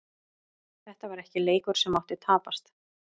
Þetta var ekki leikur sem mátti tapast.